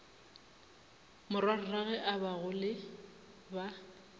morwarragwe a bag ole ba